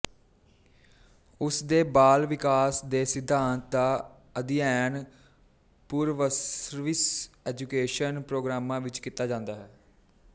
ਉਸ ਦੇ ਬਾਲ ਵਿਕਾਸ ਦੇ ਸਿਧਾਂਤ ਦਾ ਅਧਿਐਨ ਪੂਰਵਸਰਵਿਸ ਐਜੂਕੇਸ਼ਨ ਪ੍ਰੋਗਰਾਮਾਂ ਵਿੱਚ ਕੀਤਾ ਜਾਂਦਾ ਹੈ